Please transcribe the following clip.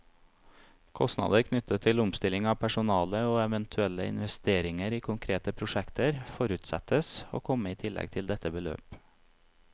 Kostnader knyttet til omstilling av personale, og eventuelle investeringer i konkrete prosjekter, forutsettes å komme i tillegg til dette beløp.